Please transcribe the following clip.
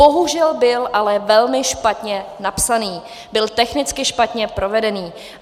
Bohužel byl ale velmi špatně napsaný, byl technicky špatně provedený.